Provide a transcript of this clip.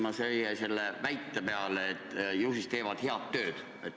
Ma jäin mõtisklema teie väite üle, et komisjon teeb head tööd.